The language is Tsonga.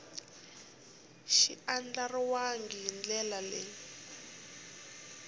xi andlariwangi hi ndlela leyi